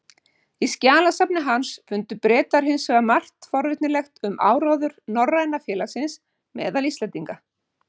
Í skjalasafni hans fundu Bretar hins vegar margt forvitnilegt um áróður Norræna félagsins meðal Íslendinga.